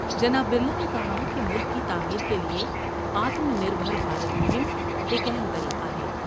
جناب برلا نے کہا کہ ملک کی تعمیر کے لئے Atmanirbhar Bharat مہم ایک اہم طریقہ ہے ۔